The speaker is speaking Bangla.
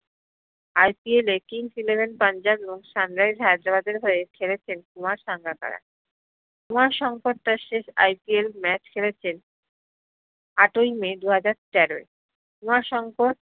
IPL এ Kings 11 পান্জাব ও sunrise হায়দ্রাবাদ হয়ে খেলেছেন কুমার সাঙ্গাকারা কুমার সাঙ্গাকারা IPL শেষ match খেলেছেন আটোই মে দু হাজার তেরোয় কুমার সাঙ্গাকারা